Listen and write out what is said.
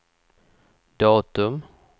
datum